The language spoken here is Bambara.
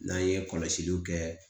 N'an ye kɔlɔsiliw kɛ